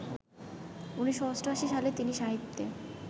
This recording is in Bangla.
১৯৮৮ সালে তিনি সাহিত্যে